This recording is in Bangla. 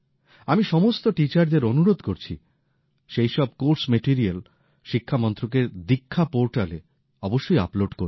আমি সমস্ত টিচারদের অনুরোধ করছি সেই সব কোর্স ম্যাটেরিয়াল শিক্ষা মন্ত্রকের দীক্ষা পোর্টালে অবশ্যই আপলোড করুন